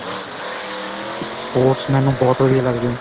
sports ਮੈਨੂੰ ਬਹੁਤ ਵਧੀਆ ਲੱਗਦੀਆਂ